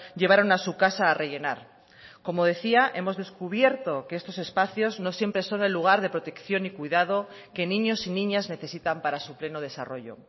llevaron a su casa a rellenar como decía hemos descubierto que estos espacios no siempre son el lugar de protección y cuidado que niños y niñas necesitan para su pleno desarrollo